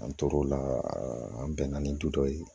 An tor'o la an bɛnna ni du dɔ ye